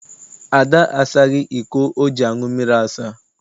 Ada asaghị iko o ji aṅụ mmiri asa.